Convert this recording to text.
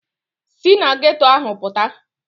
Sị na geeto ahụ pụta